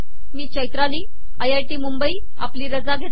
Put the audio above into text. मी चैताली आपली रजा घेते